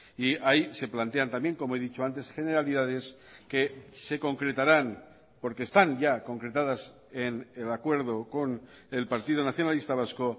y ahí se plantean también como he dicho antes generalidades que se concretarán porque están ya concretadas en el acuerdo con el partido nacionalista vasco